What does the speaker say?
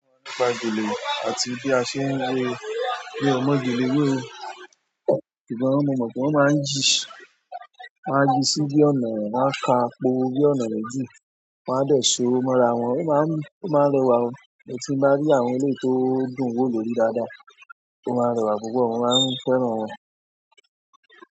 Nípa gèlè, àti bí a ṣe ń wé, mio mo gèlè wé oo. Sugbo mo mọ̀ pé wọ́n máa ń yìí, won a ń yìí sí bí ọ̀nà, won a ká pọ̀ bí ọ̀nà méjì, wọ́n á dẹ̀ ṣo, mọ́ra wọn, ó máa ń rewá o. Tin bá rí àwọn eléyìí tó dùn wo lórí daada, ó má rẹwà lórí púpọ̀ mo maan fẹ́ràn wọn.